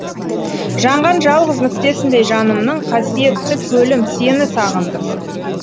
жанған жалғыз нүктесіндей жанымның қасиетті көлім сені сағындым